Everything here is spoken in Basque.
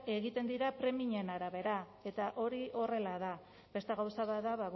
egiten dira premien arabera eta hori horrela da beste gauza bat da